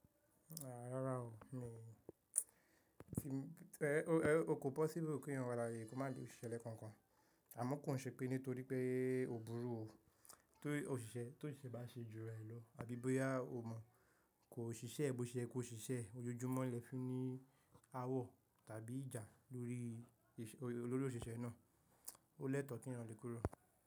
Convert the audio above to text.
Rárá o, emi o o kò possible kí èèyàn ko má lo òṣìṣẹ́ lẹ́kọ̀ọ̀kan. Àmọ́ kò ṣe pé nítorí pé ó burú o, tó òṣìṣẹ́ bá ṣe jù rẹ lọ àbí bóyá o mọ̀ kó ṣiṣẹ́ bó ṣe yẹ kó ṣiṣẹ́ ojoojúmọ́ lẹ́fiún ní awọ̀ tàbí ìjà lórí lórí òṣìṣẹ́ náà. Ó lẹ́tọ̀ọ́ kí èèyàn le kúrò.